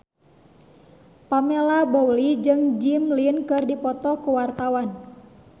Pamela Bowie jeung Jimmy Lin keur dipoto ku wartawan